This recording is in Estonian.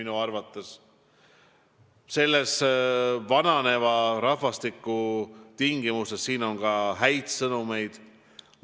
Kuid vananeva rahvastiku tingimustes on ka häid sõnumeid.